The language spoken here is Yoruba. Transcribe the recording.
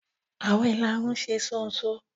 Awọn ilárún ṣe ṣonṣo.